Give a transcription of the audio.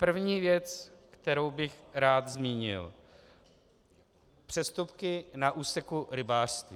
První věc, kterou bych rád zmínil, přestupky na úseku rybářství.